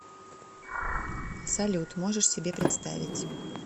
салют можешь себе представить